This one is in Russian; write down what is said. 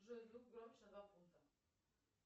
джой звук громче на два пункта